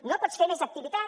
no pots fer més activitat